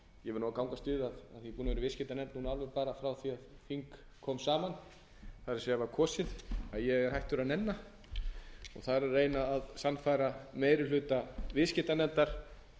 ég verð að gangast við af því að ég er búinn að vera í viðskiptanefnd alveg frá því að þing kom saman það er var kosinn að ég er hættur að nenna og það er að reyna að sannfæra meiri hluta viðskiptanefndar